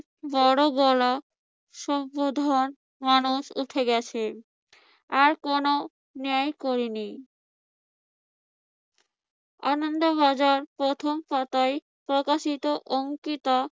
বড় গলা মানুষ উঠে গেছে। আর কোন ন্যায় করেনি। আনন্দ বাজার প্রথম পাতায় প্রকাশিত অঙ্কিতা